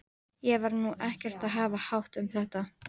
Ég var nú ekkert að hafa hátt um þetta.